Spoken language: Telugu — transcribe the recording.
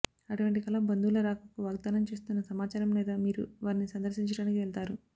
అటువంటి కల బంధువుల రాకకు వాగ్దానం చేస్తున్న సమాచారం లేదా మీరు వారిని సందర్శించడానికి వెళతారు